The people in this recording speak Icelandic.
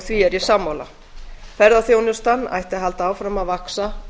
því er ég sammála ferðaþjónustan ætti að halda áfram að vaxa